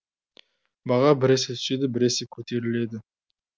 баға біресе түседі біресе көтеріледі